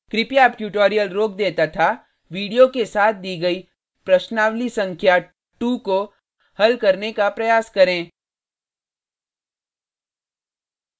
कृपया अब ट्यूटोरियल रोक दें तथा वीडियो के साथ दी गई प्रश्नावली संख्या 2 को हल करने का प्रयास करें